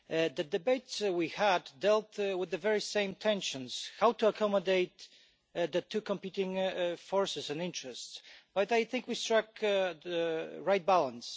The debate we had dealt with the very same tensions how to accommodate the two competing forces and interests but I think we struck the right balance.